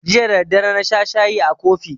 Jiya da daddare na sha shayi a kofi